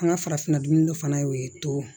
An ka farafinna dun fana y'o ye to